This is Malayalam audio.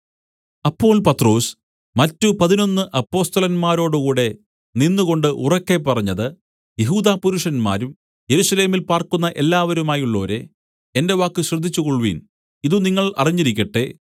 അപ്പോൾ പത്രൊസ് മറ്റ് പതിനൊന്ന് അപ്പൊസ്തലന്മാരോടുകൂടെ നിന്നുകൊണ്ട് ഉറക്കെ പറഞ്ഞത് യെഹൂദാപുരുഷന്മാരും യെരൂശലേമിൽ പാർക്കുന്ന എല്ലാവരുമായുള്ളോരേ എന്റെ വാക്ക് ശ്രദ്ധിച്ചു കൊൾവിൻ ഇതു നിങ്ങൾ അറിഞ്ഞിരിക്കട്ടെ